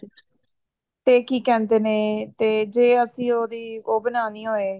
ਤੇ ਕੀ ਕਹਿੰਦੇ ਨੇ ਤੇ ਜੇ ਅਸੀਂ ਉਹਦੀ ਉਹ ਬਣਾਉਣੀ ਹੋਵੇ